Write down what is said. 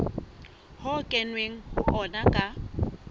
ho kenweng ho ona ka